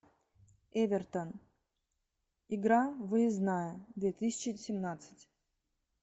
эвертон игра выездная две тысячи семнадцать